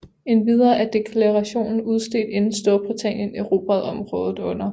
Endvidere er deklarationen udstedt inden Storbritannien erobrede området under 1